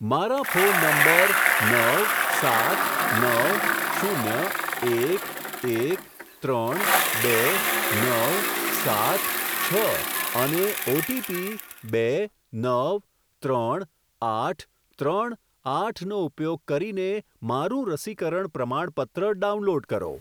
મારા phone number નવ સાત નવ શૂન્ય એક એક ત્રણ બે નવ સાત છ અને ઓટીપી બે નવ ત્રણ આઠ ત્રણ આઠનો ઉપયોગ કરીને મારું રસીકરણ પ્રમાણપત્ર ડાઉનલોડ કરો.